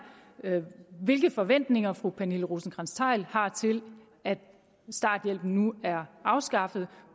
hvilke forventninger fru pernille rosenkrantz theil har til at starthjælpen nu er afskaffet